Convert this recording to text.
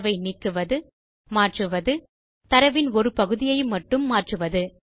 தரவை நீக்குவது மாற்றுவது தரவின் ஒரு பகுதியை மட்டும் மாற்றுவது